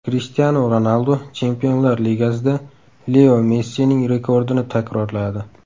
Krishtianu Ronaldu Chempionlar Ligasida Leo Messining rekordini takrorladi.